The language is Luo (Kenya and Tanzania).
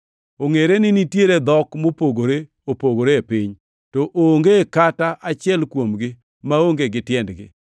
Ongʼere ni nitiere dhok mopogore opogore e piny, to onge kata achiel kuomgi maonge gi tiendgi.